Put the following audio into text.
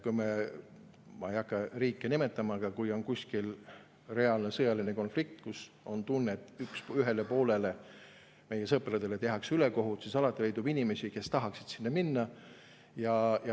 Ma ei hakka riike nimetama, aga kui on kuskil reaalne sõjaline konflikt, mille puhul on tunne, et ühele poolele, meie sõpradele tehakse ülekohut, siis alati leidub inimesi, kes tahaksid sinna minna.